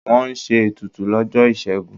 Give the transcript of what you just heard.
Wọ́n ṣe ètùtù lọ́jọ́ Ìṣẹ́gun.